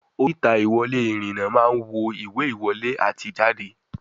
Oríta ìwòwé ìrìn-nà máa ń wo ìwé ìwọlé àti ìjáde